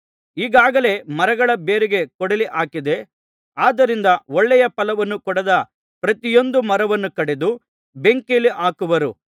ಈಗಾಗಲೇ ಮರಗಳ ಬೇರಿಗೆ ಕೊಡಲಿ ಹಾಕಿದೆ ಆದ್ದರಿಂದ ಒಳ್ಳೆಯ ಫಲವನ್ನು ಕೊಡದ ಪ್ರತಿಯೊಂದು ಮರವನ್ನು ಕಡಿದು ಬೆಂಕಿಯಲ್ಲಿ ಹಾಕುವರು